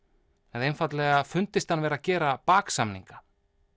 en einfaldlega fundist hann vera að gera baksamninga